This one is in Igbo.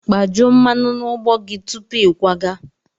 Kpajuo mmanụ na ụgbọ gị tupu ịkwaga!